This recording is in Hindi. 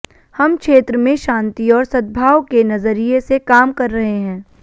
हम क्षेत्र में शांति और सद्भाव के नजरिए से काम कर रहे हैं